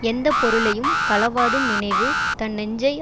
எந்த பொருளையும் களவாடும் நினைவு தன் நெஞ்சை